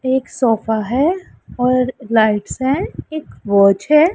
एक सोफा है और राइट साइड एक वॉच है।